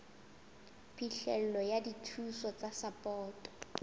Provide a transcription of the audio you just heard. phihlelo ya dithuso tsa sapoto